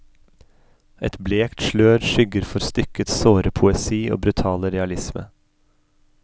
Et blekt slør skygger for stykkets såre poesi og brutale realisme.